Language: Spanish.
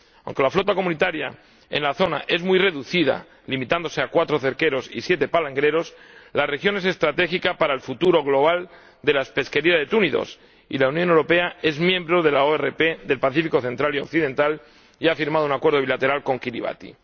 Aunque la flota comunitaria en la zona es muy reducida, limitándose a cuatro cerqueros y siete palangreros, la región es estratégica para el futuro global de la pesquería de túnidos, y la Unión Europea es miembro de la ORP del Pacífico central y occidental y ha firmado un acuerdo bilateral con Kiribati.